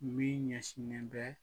Min ɲɛ sinen bɛ